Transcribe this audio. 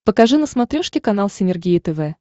покажи на смотрешке канал синергия тв